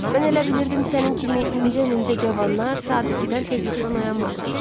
Mən elə bilirdim sənin kimi incə-mincə cavanlar saat 2-dən tez yuxudan oyanmırlar.